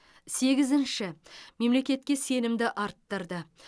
сегізінші мемлекетке сенімді арттырды